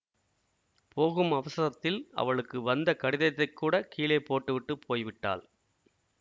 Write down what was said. போகும் அவசரத்தில் அவளுக்கு வந்த கடிதத்தைக்கூடக் கீழே போட்டுவிட்டுப் போய்விட்டாள்